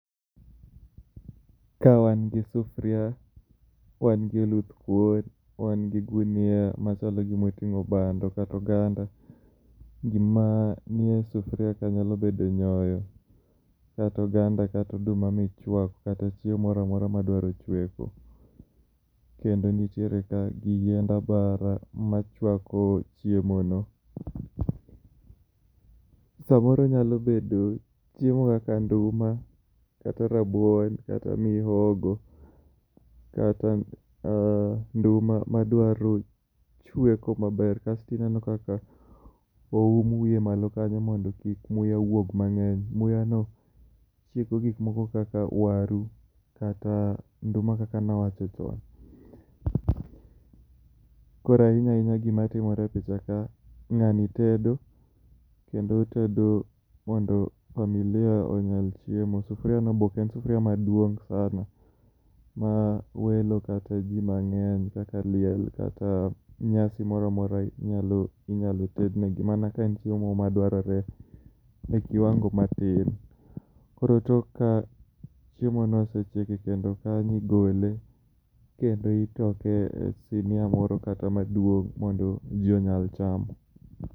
Ka wan gi sufuria, wan gi oluthkuon, wan gi gunia machalo gima oting'o bando kata oganda. Gima nie sufuria kanyo nyalo bedo nyoyo, kata oganda kata oduma michuako, kata chiemo moro amora madwaro chueko. Kendo nitiere ka gi yiend abara machuako chiemo no. Samoro onyalo bedo chiemo kaka nduma, kata rabuon kata mihogo kata ah nduma madwaro chueko maber. Kas tineno kaka oum wiye malo kanyo mondo kik muya wuog mang'eny. Muyano, chiego gik moko kaka waru, kata nduma kaka nawacho chon. Koro ahinya ahinya gima timore e picha ka, ng'ani tedo, kendo otedo mondo familia onyal chiemo, sufuriano be ok en sufuria maduong' sana ma welo kata ji mang'eny kaka liel kata nyasi moro amora nyalo inyalo ted nigi mana ka nitie moro madwarore e kiwango matin. Koro tok ka chiemo no osechiek ekendo kanyo igole, kendo itoke e sinia moro kata maduong' mondo ji onyal chamo.